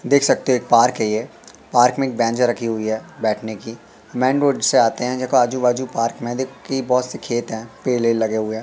देख सकते है एक पार्क है ये पार्क में एक बैंजा रखी हुई है बैठने की। मेन रोड से आते है देखो आजू बाजू पार्क में देखो की बहोत सी खेत है पेल वेल लगे हुए।